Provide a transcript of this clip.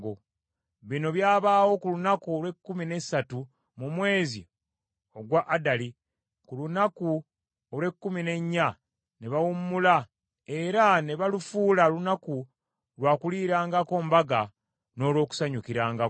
Bino byabaawo ku lunaku olw’ekkumi n’essatu mu mwezi ogwa Adali, ku lunaku olw’ekkumi n’ennya ne bawummula era ne balufuula lunaku lwa kuliirangako mbaga n’olw’okusanyukirangako.